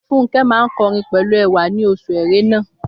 Fúnkẹ́ máa ń kọrin pẹ̀lú ẹwà ní oṣù erénà